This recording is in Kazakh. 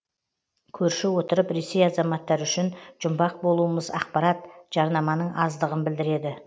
көрші отырып ресей азаматтары үшін жұмбақ болуымыз ақпарат жарнаманың аздығын білдіреді